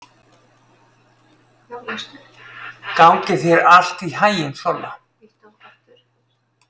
Gangi þér allt í haginn, Solla.